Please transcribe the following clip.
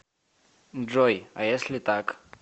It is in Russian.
джой а если так